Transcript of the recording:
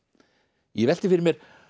ég velti fyrir mér